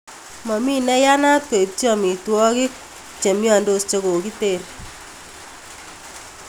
Momii ne yanaat koiibchi amitwogiik chemyantoos chekokiteer